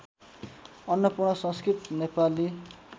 Annapurna Sanskrit Nepali